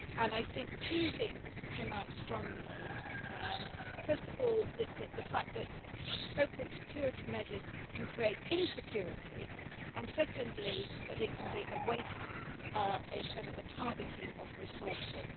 I think two things came out strongly first of all, the fact that so called security' measures can create insecurity and, secondly, that they can be a waste, instead of a targeting, of resources.